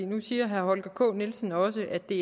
nu siger herre holger k nielsen også at det